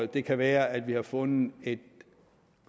det kan være at vi har fundet et